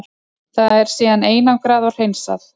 Það er síðan einangrað og hreinsað.